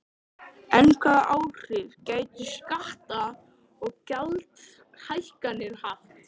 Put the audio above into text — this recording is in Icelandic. En hvaða áhrif gætu skatta- og gjaldahækkanir haft?